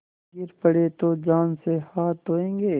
गिर पड़े तो जान से हाथ धोयेंगे